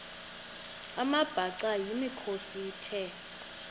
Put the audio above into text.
amabhaca yimikhosi the